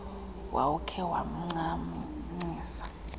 wawukhe wamnca ncisa